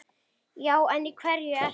Já en í hverju ertu?